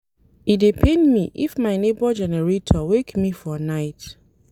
E dey pain me if my nebor generator wake me for night.